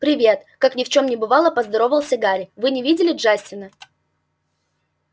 привет как ни в чем не бывало поздоровался гарри вы не видели джастина